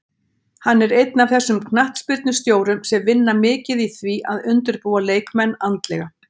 Hann er einn af þessum knattspyrnustjórum sem vinna mikið í því að undirbúa leikmenn andlega